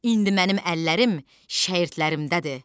İndi mənim əllərim şəyirdlərimdədir.